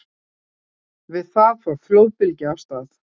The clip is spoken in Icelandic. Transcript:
Við það fór flóðbylgja af stað.